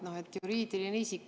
Noh, et juriidiline isik.